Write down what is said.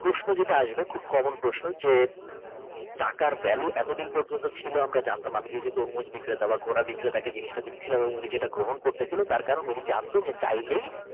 প্রশ্ন যেটা আসবে খুব কমেন্ট প্রশ্ন যে টাকার ভ্যালু এতদিন পর্যন্ত ছিল আমরা জানতাম আমি যে যে তরমুজ বিক্রেতা বা ক্ষরা বিক্রেতা কে দিচ্ছিলাম এবং উনি যেটা গ্রহণ করতাছিল তার কারণ উনি জানতো চাইলেই।